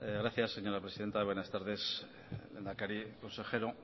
gracias señora presidenta buenas tardes lehendakari consejero